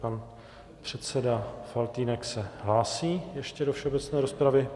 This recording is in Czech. Pan předseda Faltýnek se hlásí ještě do všeobecné rozpravy.